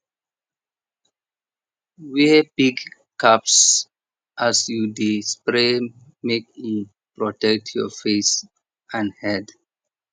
wear big cap as you dey spray make e protect your face and head